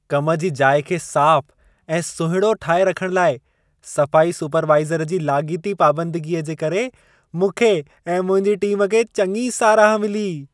कम जी जाइ खे साफ़ ऐं सुहिणो ठाहे रखण लाइ, सफ़ाई सुपरवाइज़र जी लाॻीती पाबंदगीअ जे करे मूंखे ऐं मुंहिंजी टीम खे चङी साराह मिली।